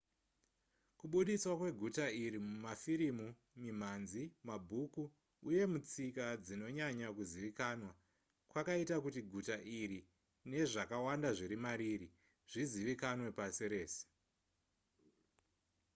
kubudiswa kweguta iri mumafirimu mimhanzi mabhuku uye mutsika dzinonyanya kuzivikanwa kwakaita kuti guta iri nezvakawanda zviri mariri zvizivikanwe pasi rese